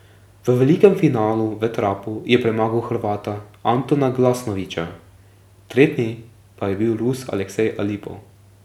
V velikem finalu v trapu je premagal Hrvata Antona Glasnovića, tretji pa je bil Rus Aleksej Alipov.